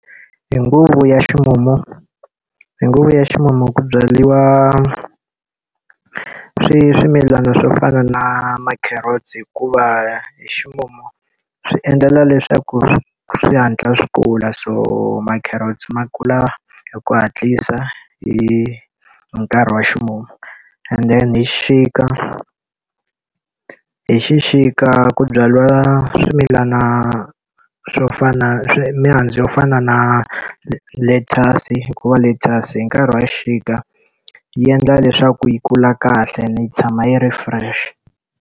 Hi nguva ya ximumu, hi nguva ya ximumu ku byariwa swimilana swo fana na ma-carrots hikuva hi ximumu swi endlela leswaku swi hatla swi kula so ma-carrots ma kula hi ku hatlisa hi hi nkarhi wa ximumu. And then hi xixika, hi xixika ku byariwa swimilana swo fana mihandzu yo fana na lettuce-i hikuva lettuce-i hi nkarhi wa xixika yi endla leswaku yi kula kahle ni yi tshama yi ri fresh.